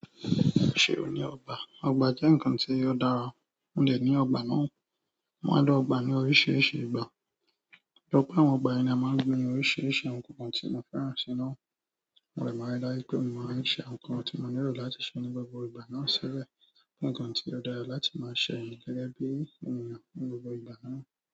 Ṣé ò ní ọgbà? Ọgbà jẹ́ ǹnkan tí ó dára. Mò dẹ ní ọgbà náà. Mo máa lo ọgbà ní oríṣiríṣi ìgbà. Lọ́pọ̀ àwọn ìgbà ni a máa ń gbin oríṣiríṣi àwọn ǹnkan kan tí mo fẹ́ràn sií náà. Mo dẹ máa rí dájú pé mo máa ṣe àwọn ǹnkan tí mo nílò láti ṣe ní gbogbo ìgbà náà ṣibẹ. Nǹkan tí ó dára láti máa ṣe ẹ̀ ní gẹ́gẹ́ bí ènìyàn ní gbogbo ìgbà náà.